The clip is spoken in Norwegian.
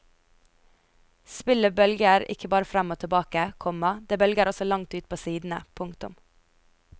Spillet bølger ikke bare frem og tilbake, komma det bølger også langt ut på sidene. punktum